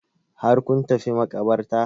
Har kun tafi maƙabartar?